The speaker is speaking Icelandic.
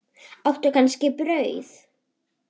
Áttu kannski brauð?